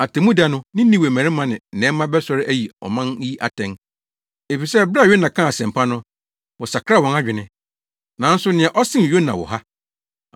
Atemmuda no Ninewe mmarima ne nnɛmma bɛsɔre ayi ɔman yi atɛn, efisɛ bere a Yona kaa asɛmpa no, wɔsakraa wɔn adwene. Nanso nea ɔsen Yona wɔ ha.